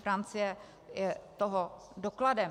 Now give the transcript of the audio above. Francie je toho dokladem.